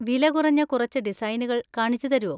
വില കുറഞ്ഞ കുറച്ച് ഡിസൈനുകൾ കാണിച്ചുതരോ?